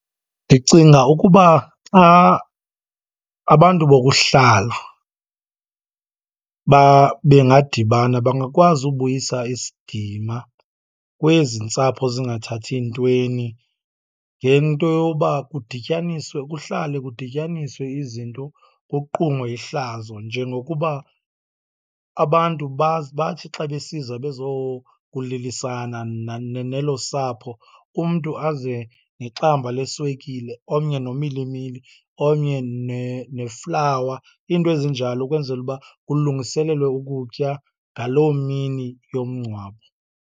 Ndicinga ukuba xa abantu bokuhlala bengadibana bangakwazi ubuyisa isidima kwezi ntsapho zingathathi ntweni ngento yoba kudityaniswe, kuhlale kudityaniswe izinto kuqumwe ihlazo. Njengokuba abantu bathi xa besiza bezokulilisana nelo sapho, umntu aze nexamba leswekile, omnye nomilimili, omnye neflawa, iinto ezinjalo ukwenzela uba kulungiselwe ukutya ngaloo mini yomngcwabo.